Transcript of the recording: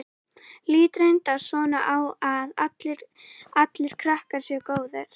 Lít reyndar svo á að allir krakkar séu góðir.